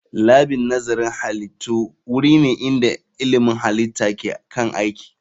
Labin nazarin halittu wuri ne inda ilmin halitta ke kan aiki